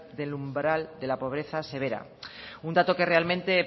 del umbral de la pobreza severa un dato que es realmente